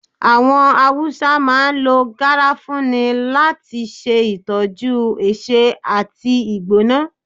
Awọn Hausa máà ń lọ garafuni lati ṣe itọjú ẹsé ati igbona.